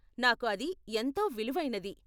నాకు అది ఎంతో విలువైనది.